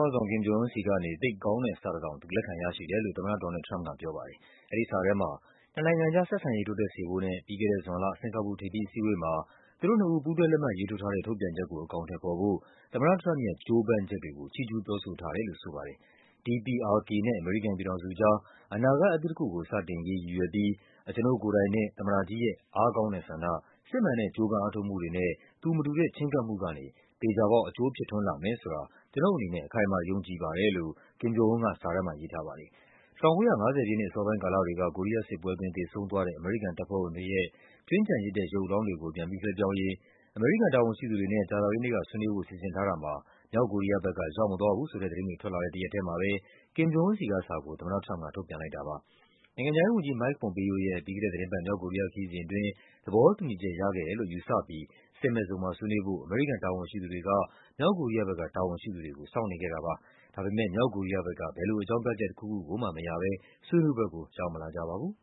ေါင်းဆောင် Kim Jong Un ဆီကနေ “သိပ်ကောင်းတဲ့” စာတစောင် သူ လက်ခံရရှိတယ်လို့ သမ္မတ ဒေါ်နယ်လ်ဒ် ထရမ့်ပ်ကပြောပါတယ်။ အဲဒီစာထဲမှာ နှစ်နိုင်ငံအကြား ဆက်ဆံရေးတိုးတက်စေဖို့နဲ့ ပြီးခဲ့တဲ့ဇွန်လ စင်္ကာပူထိပ်သီး အစည်းအဝေးမှာ သူတို့နှစ်ဦး ပူးတွဲလက်မှတ်ရေးထိုးထားတဲ့ ထုတ်ပြန်ချက်ကို အကောင်အထည်ဖော်ဖို့ သမ္မတထရမ့်ပ်ရဲ့ ကြိုးပမ်းချက်တွေကို ချီးကျူးပြောဆိုထားတယ်လို့ ဆိုပါတယ်။ “DPRK နဲ့ အမေရိကန်ပြည်ထောင်စုအကြား အနာဂတ်အသစ်တခုကို စတင်ရေးရည်ရွယ်ပြီး အကျွန်ုပ်ကိုယ်တိုင်နဲ့ သမ္မတကြီးရဲ့ အားကောင်းတဲ့ဆန္ဒ၊ စစ်မှန်တဲ့ ကြိုးပမ်းအားထုတ်မှုတွေနဲ့ သူမတူတဲ့ ချဉ်းကပ်မှုကနေ သေချာပေါက် အကျိုးဖြစ်ထွန်းလာမယ် ဆိုတာ ကျွန်ုပ်အနေနဲ့ အခိုင်အမာယုံကြည်ပါတယ်” လို့ Kim Jong Un က စာထဲမှာရေးထားပါတယ်။ ၁၉၅၀ ပြည့်နှစ် အစောပိုင်းကာလတွေက ကိုရီးယားစစ်ပွဲအတွင်း သေဆုံးသွားတဲ့ အမေရိကန်တပ်ဖွဲ့ဝင်တွေရဲ့ ကြွင်းကျန်ရစ်တဲ့ ရုပ်အလောင်းတွေကို ပြန်ပြီးလွှဲပြောင်းရေး အမေရိကန်တာဝန်ရှိသူတွေနဲ့ ကြာသပတေးနေ့က ဆွေးနွေးဖို့စီစဉ်ထားတာမှာ မြောက်ကိုရီးယားဘက်က ရောက်မလာဘူးဆိုတဲ့သတင်းတွေ ထွက်လာတဲ့တရက်ထဲမှာပဲ Kim Jong Un ဆီကစာကို သမ္မတ ထရမ့်ပ်က ထုတ်ပြန်လိုက်တာပါ။ နိုင်ငံခြားရေးဝန်ကြီး Mike Pompeo ရဲ့ ပြီးခဲ့တဲ့သီတင်းပတ် မြောက်ကိုရီးယားခရီးစဉ်အတွင်း သဘောတူညီချက်ရခဲ့တယ်လို့ ယူဆပြီး စစ်မဲ့ဇုံမှာဆွေးနွေးဖို့ အမေရိကန်တာဝန်ရှိသူတွေက မြောက်ကိုရီးယားဘက်က တာဝန်ရှိသူတွေကို စောင့်နေခဲ့တာပါ။ ဒါပေမဲ့ မြောက်ကိုရီးယားဘက်က ဘယ်လိုအကြောင်းပြချက် တခုခုကိုမှမရဘဲ ဆွေးနွေးပွဲကို ရောက်မလာကြပါဘူး